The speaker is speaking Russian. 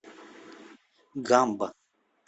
гамба